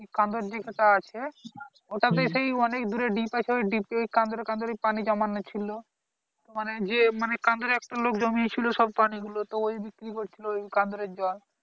. দিক একটা আছে ওটাতে সেই অনেক দূরে deep আছে ওই deep এ কানায় কানায় পানী জমানো ছিল মানে যে কান্দুরে একটা লোক জমিয়াছিলো সব পানী গুলো তো ওই বিক্রী করছিলো ওই কান্দুরের জল